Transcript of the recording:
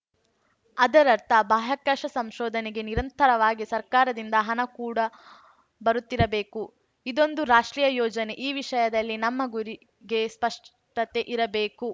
ಅದರರ್ಥ ಬಾಹ್ಯಾಕಾಶ ಸಂಶೋಧನೆಗೆ ನಿರಂತರವಾಗಿ ಸರ್ಕಾರದಿಂದ ಹಣ ಕೂಡ ಬರುತ್ತಿರಬೇಕು ಇದೊಂದು ರಾಷ್ಟ್ರೀಯ ಯೋಜನೆ ಈ ವಿಷಯದಲ್ಲಿ ನಮ್ಮ ಗುರಿಗೆ ಸ್ಪಷ್ಟತೆಯಿರಬೇಕು